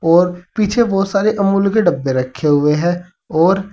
और पीछे बहोत सारे अमूल के डब्बे रखे हुए हैं और--